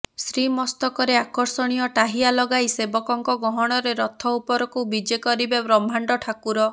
ଶ୍ରୀମସ୍ତକରେ ଆକର୍ଷଣୀୟ ଟାହିଆ ଲଗାଇ ସେବକଙ୍କ ଗହଣରେ ରଥ ଉପରକୁ ବିଜେ କରିବେ ବ୍ରହ୍ମାଣ୍ଡ ଠାକୁର